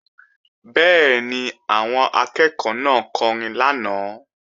Bẹ́ẹ̀ni, àwọn akẹ́ẹ̀kọ́ náà kọrin lánàá